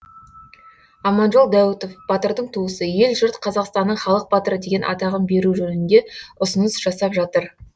аманжол дәуітов батырдың туысы ел жұрт қазақстанның халық батыры деген атағын беру жөнінде ұсыныс жасап жатыр